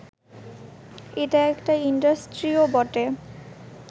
এটা একটা ইন্ডাস্ট্রিও বটে